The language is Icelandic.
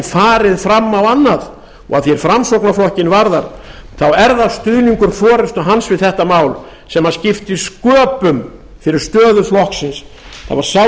farið fram á annað og að því er framsóknarflokkinn varðar þá er það stuðningur forustu hans við þetta mál sem skipti sköpum fyrir stöðu flokksins það var sá